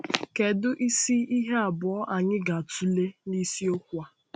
Kedu isi ihe abụọ anyị ga-atụle na isiokwu a?